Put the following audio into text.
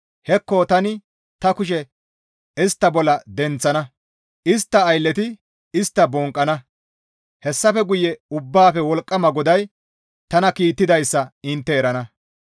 Hekko tani ta kushe istta bolla denththana; istta aylleti istta bonqqana; hessafe guye Ubbaafe Wolqqama GODAY tana kiittidayssa intte erana.